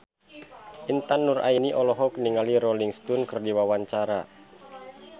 Intan Nuraini olohok ningali Rolling Stone keur diwawancara